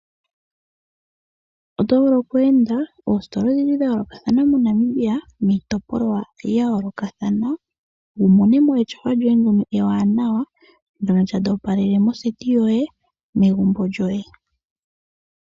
Otovulu oku enda oositola odhindji dha yoolokathana MoNamibia, miitopolwa ya yoolokathana, wumone mo etyofa lyoye ewanawa, ndyono tali opalele moseti yoye, megumbo lyoye.